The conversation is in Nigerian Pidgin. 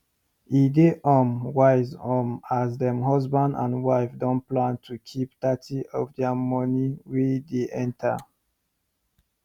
e dey um wise um as dem husband and wife don plan to keep thirty of dia money wey dey enter